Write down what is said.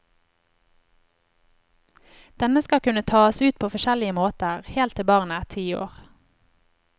Denne skal kunne taes ut på forskjellige måter helt til barnet er ti år.